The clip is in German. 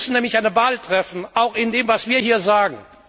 Wir müssen nämlich eine Wahl treffen, auch in dem, was wir hier sagen.